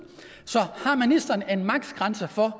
så har ministeren en maksgrænse for